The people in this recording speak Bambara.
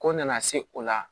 Ko nana se o la